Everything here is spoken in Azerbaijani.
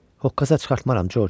Hoqqa çıxartmaram Corc.